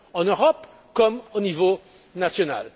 En Europe, comme au niveau national.